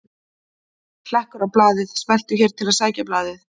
Hlekkur á blaðið: Smelltu hér til að sækja blaðið